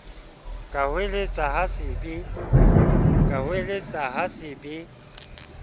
ka hoeletsa ha se be